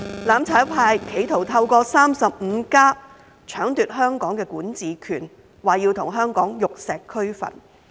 "攬炒派"企圖透過 "35+"， 搶奪香港管治權，說要與香港玉石俱焚。